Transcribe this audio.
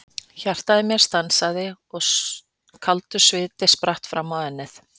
Hjartað í mér stansaði og kaldur sviti spratt fram á ennið.